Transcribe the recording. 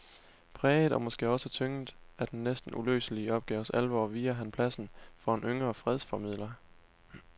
Præget og måske også tynget af den næsten uløselige opgaves alvor viger han pladsen for en yngre fredsformidler.